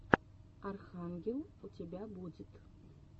архангел у тебя будет